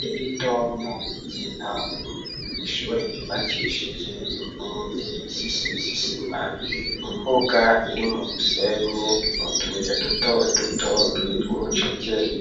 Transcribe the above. Leritonya ryintango, ishure ryubakishije inkingi zisizisima , imbuga iri mu musenyi utuye duto duto rwidwa urucekeri,